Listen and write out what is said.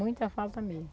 Muita falta mesmo.